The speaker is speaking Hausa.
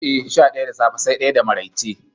Eh, sha ɗaya da safe sai ɗaya da maraice.